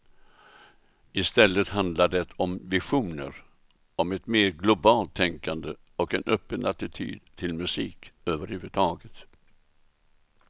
I stället handlar det om visioner om ett mer globalt tänkande och en öppen attityd till musik överhuvudtaget.